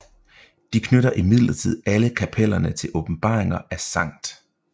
De knytter imidlertid alle kapellerne til åbenbaringer af St